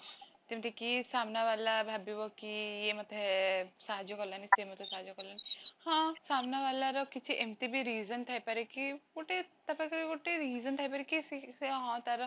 ଯେମିତି କି ସାମ୍ନା ଵାଲା ଭାବିବ କି ୟେ ମତେ ସାହାଯ୍ୟ କଲାନି ସେ ମତେ ସାହାଯ୍ୟ କଲାନି, ହଁ ସାମନା ଵାଲାର କିଛି ଏମିତିବି reason ଥାଇ ପରେ କି, ଗୋଟେ ତାପାଖରେ ଗୋଟେ reason ଥାଇ ପରେ କି ସେ ହଁ ତାର